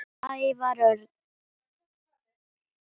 Ævar Örn